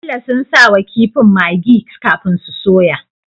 Bello sun sawa kifin maggi kafin su soya